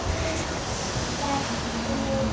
Vertu til.